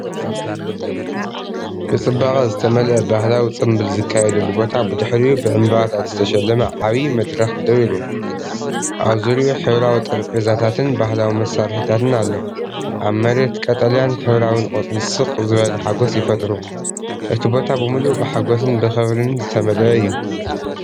ብጽባቐ ዝተመልአ ባህላዊ ጽምብል ዝካየደሉ ቦታ፣ ብድሕሪኡ ብዕምባባታት ዝተሸለመ ዓቢ መድረኽ ደው ኢሉ፤ ኣብ ዙርያኡ ሕብራዊ ጠረጴዛታትን ባህላዊ መሳርሒታትን ኣሎ። ኣብ መሬት ቀጠልያን ሕብራዊን ቆፅሊ ስቕ ዝበለ ሓጎስ ይፈጥሩ፤ እቲ ቦታ ብምልኡ ብሓጐስን ብኽብሪን ዝተመልአ እዩ።